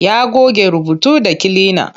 Ya goge rubutu da kilina.